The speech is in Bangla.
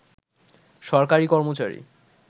সরকারি কর্মচারী